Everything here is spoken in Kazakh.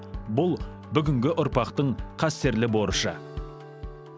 бұл бүгінгі ұрпақтың қастерлі борышы